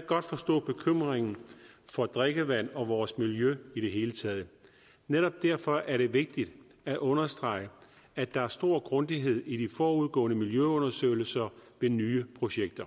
godt forstå bekymringen for drikkevand og vores miljø i det hele taget netop derfor er det vigtigt at understrege at der er stor grundighed i de forudgående miljøundersøgelser ved nye projekter